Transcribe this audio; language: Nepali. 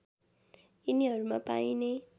यिनीहरूमा पाइने